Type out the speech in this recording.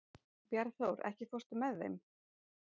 Bjarnþór, ekki fórstu með þeim?